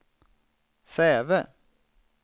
Säve